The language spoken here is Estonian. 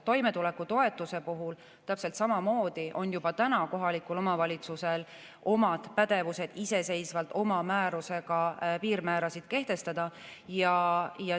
Toimetuleku toetuse puhul täpselt samamoodi on juba praegu kohalikul omavalitsusel oma pädevus iseseisvalt oma määrusega piirmäärasid kehtestada.